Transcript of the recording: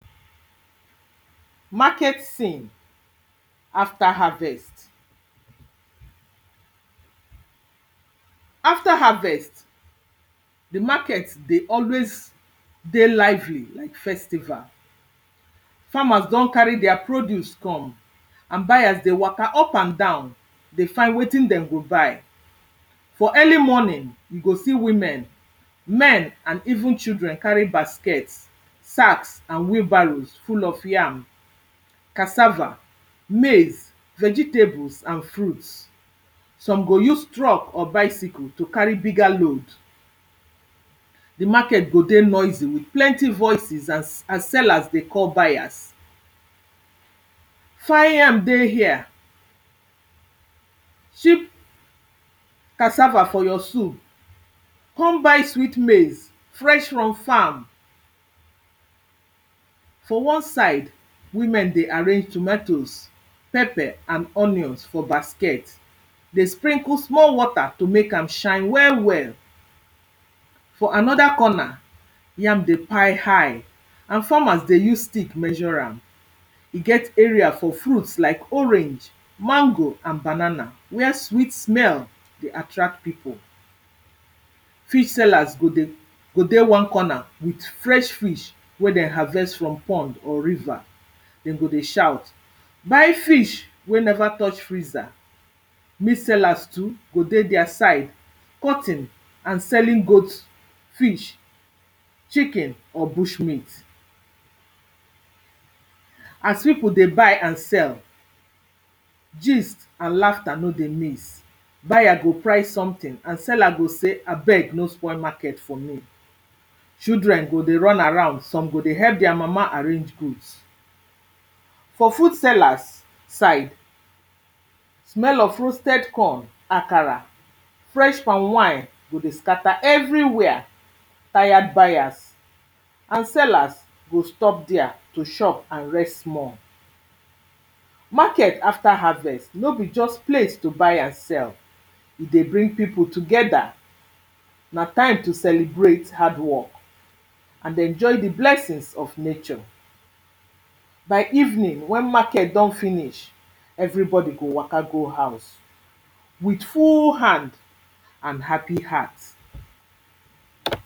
market scene after harvest. after harvest, the market dey always dey lively like festival. farmers don carry their produce come and buyers dey waka up and down dey find wetin dem go buy. For early morning, you go see women, men and even children carry baskets, sacks and wheel barrows full of yam, cassava, maize, vegetables and fruits. Some go use truck or bicycle to carry bigger load. The market go dey noisy with plenty voices as as sellers dey call buyers fine yam dey here, cheap cassava for your soup, come buy sweet maize fresh from farm. For wan side ,women dey arrange tomatoes, pepper and onions for basket dey sprinkle small water to make am shine well well. For another corner, yam dey pi high and farmers dey use stick measure am. E get area for fruits like orange, mango and banana were sweet smell dey attract pipo. Fish sellers go dey go dey wan corner with fresh fish wey den harvest from pond or river, dem go dey shout buy fish wey never touch freezer. Meat sellers too, go dey dia side. Cutting and selling goat, fish, chicken or bushmeat as pipo dey buy and sell, gist and laughter no dey miss. Buyer go price something and seller go say, abeg no spoil market for me. Children go dey run around, some go dey help their mama arrange goods. For food sellers side, smell of roasted corn, akara, fresh palmwine go dey scatter everywhere. Tired buyers and sellers go stop dia to shop and rest small. market after harvest no be just place to buy and sell, e dey bring pipo together, na time to celebrate hardwork and enjoy the blessings of nature. By evening, when market don finish, everybodi go waka go house with full hand and happy heartt.